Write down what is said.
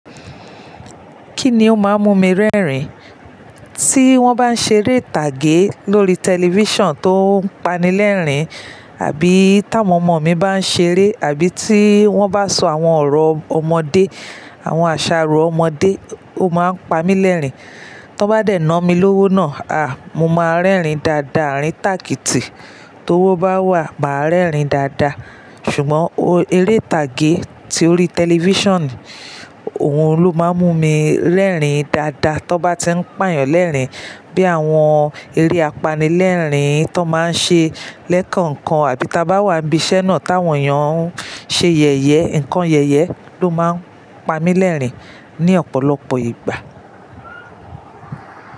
Kí ni ó máa ń mú mi rẹ́rìn? Tí wọ́n bá ń ṣeré ìtàgé lórí tẹlifíṣàn tó ń pani lẹ́rìn, àbí táwọn ọmọ mi bá ń ṣeré, àbí tí wọ́n bá ń sọ àwọn ọ̀rọ̀ ọmọdé, àwọn àṣàrò ọmọdé, ó máa ń pami lẹ́rìn. Tọ n bá dẹ̀ na mí lówó náà, a! Mo máa n rẹ́rìn dáadáa, eríǹ tàkìtì tó wọ́ bá wà, màa rẹ́rìn dáadáa. Ṣùgbọ́n eré ìtàgé tí ó rí tẹlifíṣàn, òhun ló máa ń mú mi rẹ́rìn dáadáa tọ n bá ti ń pà eeyàn lẹ́rìn. Bí àwọn eré apanilẹ́rìn tí wọ́n máa ń ṣe lẹ́kànkan àbí ta bá wà n ibi iṣẹ́ náà táwọn eeyàn ń ṣe yẹ̀yẹ́, nǹkan yẹ̀yẹ́ ló máa ń pami lẹ́rìn ní ọ̀pọ̀lọpọ̀ ìgbà.